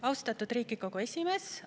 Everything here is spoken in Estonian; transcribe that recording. Austatud Riigikogu esimees!